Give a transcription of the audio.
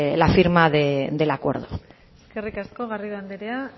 la firma del acuerdo eskerrik asko garrido andrea